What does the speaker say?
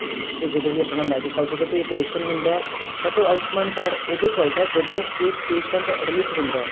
ਤੇ ਜਦੋਂ ਵੀ ਆਪਣਾ medical ਜਦੋਂ ਕੋਈ operation ਹੁੰਦਾ but ਉਹ ਆਉਸ਼ਮਾਨ card ਉਦੋਂ ਚੱਲਦਾ ਜਦੋਂ ਕੇ patient admit ਹੁੰਦਾ